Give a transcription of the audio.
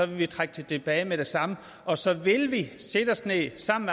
vi trække det tilbage med det samme og så vil vi sætte os ned sammen